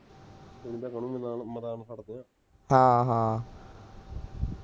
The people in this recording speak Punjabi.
ਹਾਂ ਹਾਂ